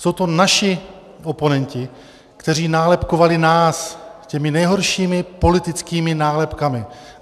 Jsou to naši oponenti, kteří nálepkovali nás těmi nejhoršími politickými nálepkami.